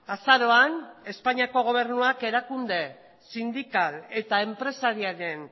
azaroan espainiako gobernuak erakunde sindikal eta enpresariaren